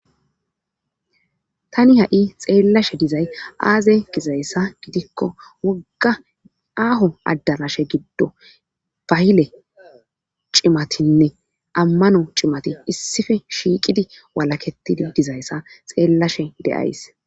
Tani ha.i xeellashe dizay aaze gizayssa gidikko wogga aaho adarashe giddo bayile cimatinne ammano cimati issife shiiqidi walaketidi dizayssa xeellashe deyays.